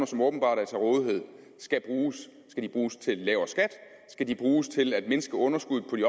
som åbenbart er til rådighed skal bruges skal de bruges til en lavere skat skal de bruges til at mindske underskuddet på de